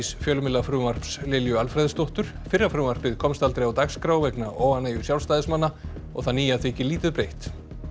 fjölmiðlafrumvarps Lilju Alfreðsdóttur fyrra frumvarpið komst aldrei á dagskrá vegna óánægju Sjálfstæðismanna og það nýja þykir lítið breytt